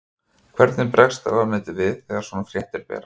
Hvernig bregst ráðuneytið við þegar svona fréttir berast?